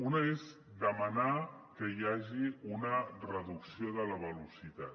una és demanar que hi hagi una reducció de la velocitat